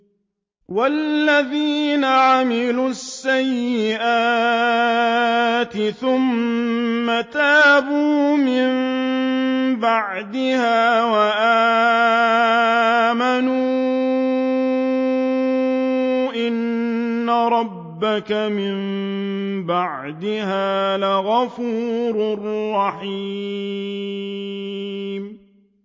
وَالَّذِينَ عَمِلُوا السَّيِّئَاتِ ثُمَّ تَابُوا مِن بَعْدِهَا وَآمَنُوا إِنَّ رَبَّكَ مِن بَعْدِهَا لَغَفُورٌ رَّحِيمٌ